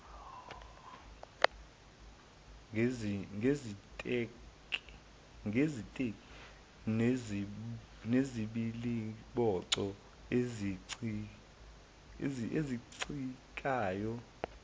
ngeziteki nezibiliboco ezicikanayo